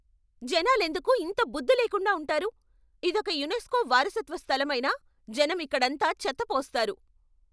జనాలెందుకు ఇంత బుద్ధి లేకుండా ఉంటారు? ఇదొక యునెస్కో వారసత్వ స్థలం అయినా జనం ఇక్కడంతా చెత్త పోస్తారు.